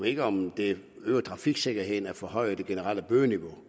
ikke om det øger trafiksikkerheden hvis forhøjer det generelle bødeniveau